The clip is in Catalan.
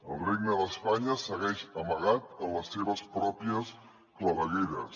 el regne d’espanya segueix amagat en les seves pròpies clavegueres